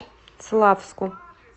славску